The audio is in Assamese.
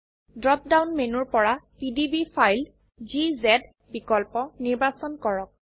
ড্ৰপ ডাউন মেনুৰ পৰা পিডিবি ফাইল বিকল্প নিৰ্বাচন কৰক